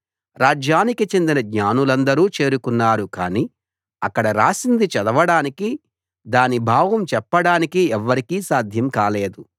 రాజ్యానికి చెందిన జ్ఞానులందరూ చేరుకున్నారు కానీ అక్కడ రాసింది చదవడానికీ దాని భావం చెప్పడానికీ ఎవ్వరికీ సాధ్యం కాలేదు